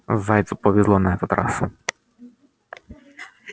зайцу повезло на этот раз